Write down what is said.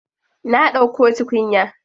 Na ɗauko tukunya.